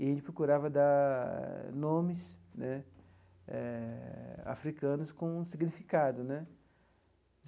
E a gente procurava dar nomes né eh africanos com significado né.